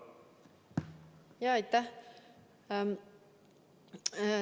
Aitäh!